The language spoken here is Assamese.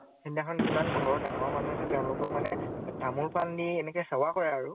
সিদিনাখন যিমান ঘৰৰ ডঙৰ মানুহ আছে, তেওঁলোকক মানে তামোল পাণ দি এনেকে সেৱা কৰে আৰু।